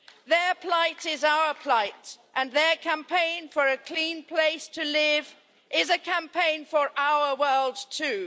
Their plight is our plight, and their campaign for a clean place to live is a campaign for our world too.